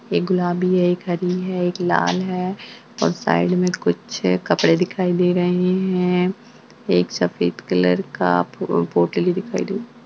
एक गुलाबी है एक हरी है एक लाल है और साइड में कुछ कपडे दिखाई दे रहे है एक सफ़ेद कलर का पो पोटली दिखाई देइ।